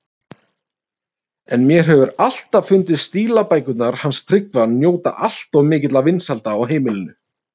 En mér hefur alltaf fundist stílabækurnar hans Tryggva njóta alltof mikilla vinsælda á heimilinu.